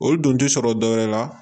O dun ti sɔrɔ dɔwɛrɛ la